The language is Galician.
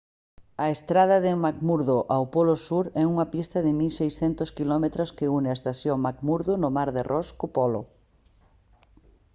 a estrada de mcmurdo ao polo sur é unha pista de 1600 km que une a estación mcmurdo no mar de ross co polo